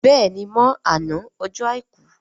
béèni mọ àna Ọjọ́ aìkú.